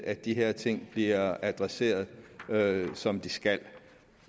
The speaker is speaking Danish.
at de her ting bliver adresseret som de skal